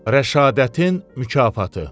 Rəşadətin mükafatı.